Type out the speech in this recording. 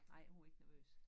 Ej hun var ikke nervøs